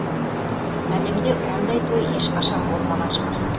әлемде ондай той ешқашан болмаған шығар